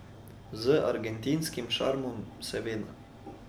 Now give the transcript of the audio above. Z argentinskim šarmom, seveda!